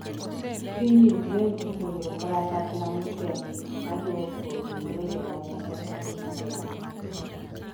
piny Ukraine oseoro kalapapla motenge ma duoko ringre joma ne otho e masira no